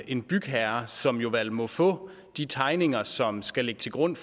en bygherre som vel må få de tegninger som skal ligge til grund